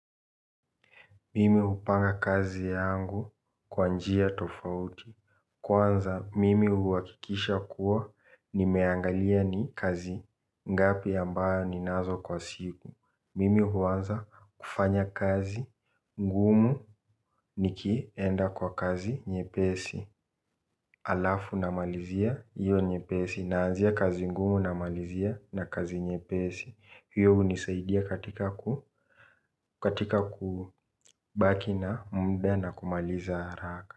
Mimi upanga kazi yangu kwanjia tofauti. Kwanza mimi huakikisha kuwa ni meangalia ni kazi ngapi ambayo ni nazo kwa siku. Mimi huanza kufanya kazi ngumu niki enda kwa kazi nye pesi alafu namalizia iyo nye pesi naanzia kazi ngumu na malizia na kazi nye pesi. Hiyo unisaidia katika kubaki na mdana kumaliza haraka.